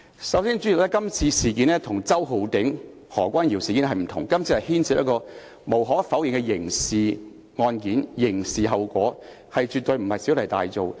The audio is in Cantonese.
首先，代理主席，這次事件與周浩鼎議員和何君堯議員事件不相同，這次是無可否認地牽涉到刑事案件、刑事後果，絕對不是小題大做。